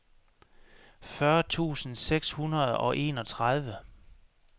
fyrre tusind seks hundrede og enogtredive